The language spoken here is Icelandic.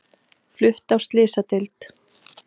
Flutt á slysadeild